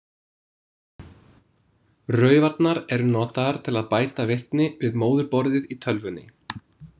Raufarnar eru notaðar til að bæta virkni við móðurborðið í tölvunni.